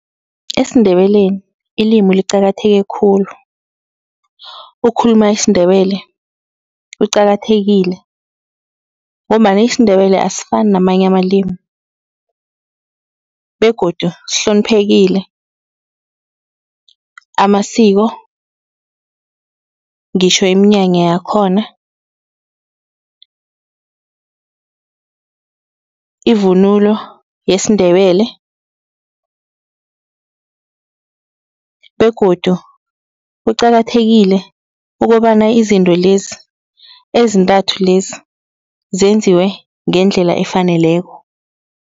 EsiNdebeleni ilimi liqakatheke khulu. Ukhuluma isiNdebele kuqakathekile ngombana isiNdebele asifani namanye amalimi begodu sihloniphekile. Amasiko ngitjho iminyanya yakhona, ivunulo yesiNdebele begodu kuqakathekile ukobana izinto lezi ezintathu lezi zenziwe ngendlela efaneleko.